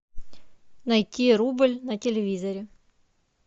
найти рубль на телевизоре